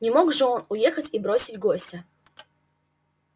не мог же он уехать и бросить гостя